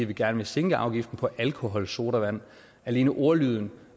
vi gerne vil sænke afgiften på alkoholsodavand alene ordlyden